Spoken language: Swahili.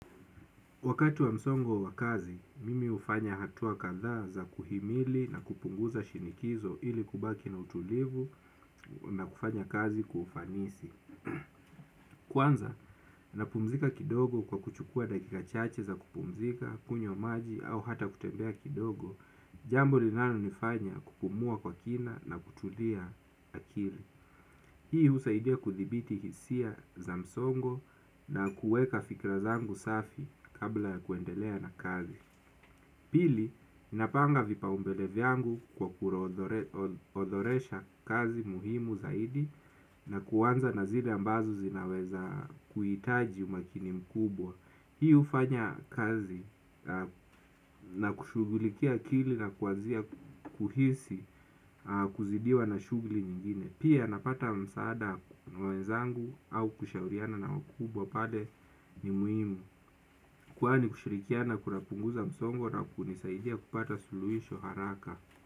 Wakati wa msongo wa kazi, mimi ufanya hatua kadhaa za kuhimili na kupunguza shinikizo ili kubaki na utulivu na kufanya kazi kwa ufanisi. Kwanza, na pumzika kidogo kwa kuchukua dakika chache za kupumzika, kunyo maji au hata kutembea kidogo, jambo linalo nifanya kupumua kwa kina na kutulia akili. Hii usaidia kudibiti hisia za msongo na kueka fikra zangu safi kabla ya kuendelea na kazi. Pili, ninapanga vipa umbele vyangu kwa kuoodoresha kazi muhimu zaidi na kuwanza nazile ambazo zinaweza kuitaji umakinimkubwa. Hii ufanya kazi na kushugulikia akili na kuanzia kuhisi kuzidiwa na shugli nyingine. Pia napata msaada mwenzangu au kushauriana na wakubwa pale ni muhimu. Kwani kushirikiana kunapunguza msongo na kunisaidia kupata suluhisho haraka.